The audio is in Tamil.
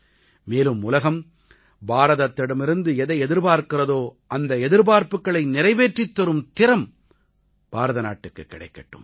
மேலும் உலகம் பாரதத்திடமிருந்து எதை எதிர்பார்க்கிறதோ அந்த எதிர்பார்ப்புக்களை நிறைவேற்றித் தரும் திறம் பாரதநாட்டுக்குக் கிடைக்கட்டும்